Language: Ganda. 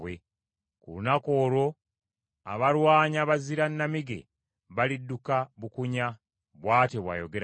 Ku lunaku olwo abalwanyi abazira nnamige balidduka bukunya!” bw’atyo bw’ayogera Mukama .